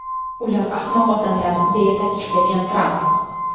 Ular ahmoq odamlar”, deya ta’kidlagan Tramp.